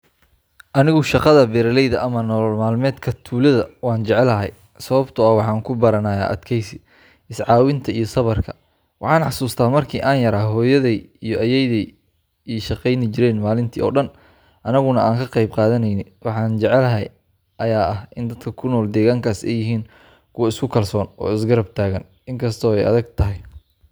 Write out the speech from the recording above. Anigu shaqada beeralayda ama nolol maalmeedka tuulada waan jeclahay, sababtoo ah waxaan ku baranayaa adkaysi, is caawinta iyo sabarka. Waxaan xasuustaa markii aan yaraa, hooyaday iyo ayeeydii ay shaqaynayeen maalintii oo dhan, annaguna aan ka qayb qaadanaynay. Waxa aan jeclahay ayaa ah in dadka ku nool deegaankaas ay yihiin kuwo isku kalsoon oo is garab taagan, inkasta oo ay adag tahay.